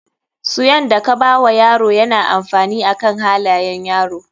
Suan da ka bawa yaro yana da amfani akan halayan yaro.